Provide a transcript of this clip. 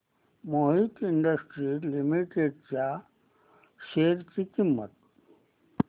Mohit industries limited च्या share ची किंमत